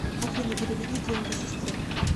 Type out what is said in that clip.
афина переведи деньги сестре